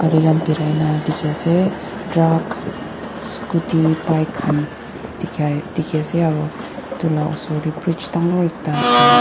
birai nah dikhi ase truck scooty pike khan dikhai dikhi ase aro itu osor tey bridge dangor ekta ase.